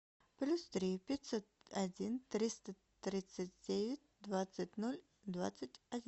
плюс три пятьсот один триста тридцать девять двадцать ноль двадцать один